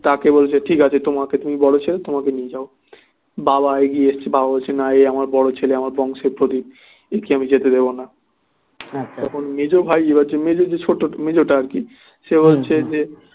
তাকে বলছে ঠিক আছে তোমাকে তুমি বড় ছেলে তোমাকে নিয়ে যাবো বাবা এগিয়ে এসেছে বাবা বলছে না এ আমার বড় ছেলে আমার বংশের প্রদীপ একে আমি যেতে দেব না তখন মেজ ভাই এবার যে মেজ মেজটা আর কি সে বলছে যে